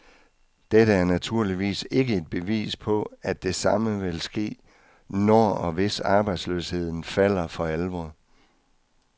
Dette er naturligvis ikke et bevis på, at det samme vil ske, når og hvis arbejdsløsheden falder for alvor.